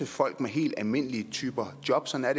folk med helt almindelige typer af jobs sådan er